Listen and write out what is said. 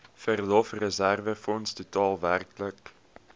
verlofreserwefonds totaal werklik